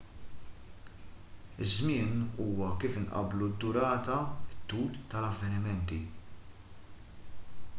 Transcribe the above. iż-żmien huwa wkoll kif inqabblu d-durata it-tul tal-avvenimenti